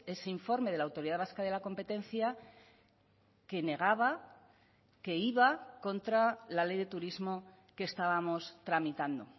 ese informe de la autoridad vasca de la competencia que negaba que iba contra la ley de turismo que estábamos tramitando